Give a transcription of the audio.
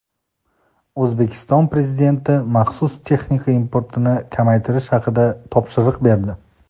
O‘zbekiston Prezidenti maxsus texnika importini kamaytirish haqida topshiriq berdi.